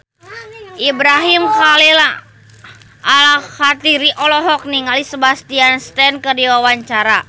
Ibrahim Khalil Alkatiri olohok ningali Sebastian Stan keur diwawancara